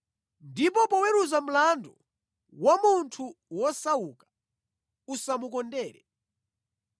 Ndipo poweruza mlandu wa munthu wosauka usamukondere.